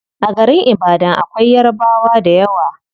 A garin ibadan akwai yarabwa dayawa